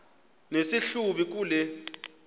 nesi hlubi kule